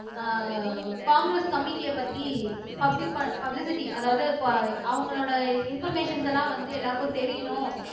அஹ் காங்கிரஸ் கமிட்டிய பத்தி பப்லி பப்லிசிட்டி அதாவது இப்ப அவங்களோட இன்பர்மேஷன்ஸ் எல்லாம் வந்து எல்லாருக்கும் தெரியணும்